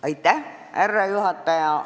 Austatud härra juhataja!